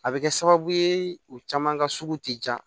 A bɛ kɛ sababu ye u caman ka sugu tɛ ja